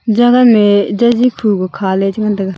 jagan me jaji khukha le che ngan tega.